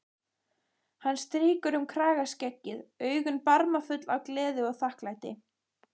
Hann strýkur um kragaskeggið, augun barmafull af gleði og þakklæti.